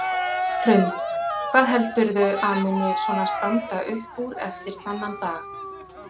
Hrund: Hvað heldurðu að muni svona standa upp úr eftir þennan dag?